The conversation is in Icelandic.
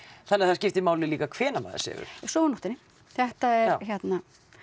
þannig að það skiptir máli líka hvenær maður sefur sofa á nóttunni þetta